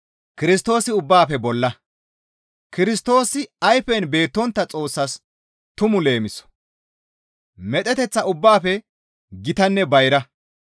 Kirstoosi ayfen beettontta Xoossas tumu leemiso; medheteththa ubbaafe gitanne bayra.